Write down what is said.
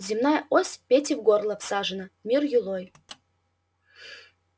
земная ось пете в горло всажена мир юлой